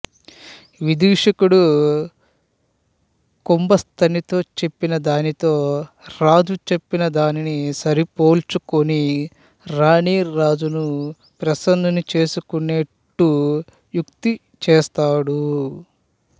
విదూషకుడు కుంభస్తనితో చెప్పిన దానితో రాజు చెప్పిన దానిని సరిపోల్చుకుని రాణి రాజును ప్రసన్నుని చేసుకొనేట్టు యుక్తి చేస్తాడు